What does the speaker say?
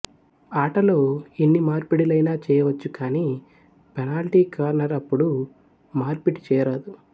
ఆటలో ఎన్ని మార్పిడిలైనా చేయవచ్చు కాని పెనాల్టి కార్నర్ అప్పుడు మార్పిడి చేయరాదు